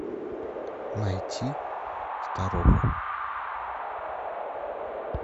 найти старуха